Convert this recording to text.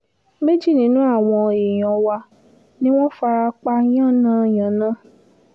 méjì nínú àwọn èèyàn wa ni wọ́n fara pa yànnà-yànnà